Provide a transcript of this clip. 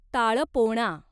ताळपोणा